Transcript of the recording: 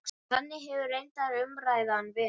Þannig hefur reyndar umræðan verið.